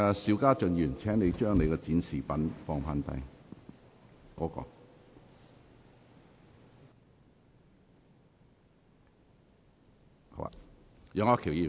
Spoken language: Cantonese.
邵家臻議員，請放下你擺設的展示品。